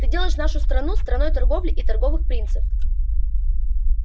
ты делаешь нашу страну страной торговли и торговых принцев